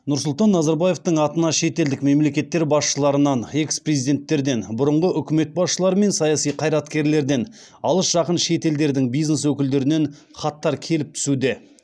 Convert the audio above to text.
нұрсұлтан назарбаевтың атына шетелдік мемлекеттер басшыларынан экс президенттерден бұрынғы үкімет басшылары мен саяси қайраткерлерден алыс жақын шет елдердің бизнес өкілдерінен хаттар келіп түсуде